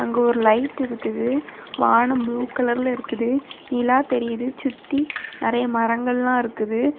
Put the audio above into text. இங்க ஒரு லைட் இருக்குது வானம் ப்ளூ கலர்ல இருக்குது நிலா தெரியுது சுத்தி நெறய மரங்கள்லாம் இருக்குது.